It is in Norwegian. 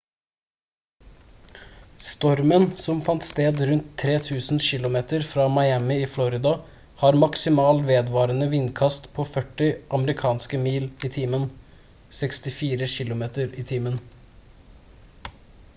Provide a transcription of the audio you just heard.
stormen som fant sted rundt 3 000 kilometer fra miami i florida har maksimal vedvarende vindkast på 40 amerikanske mil i timen 64 km/t